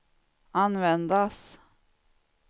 användas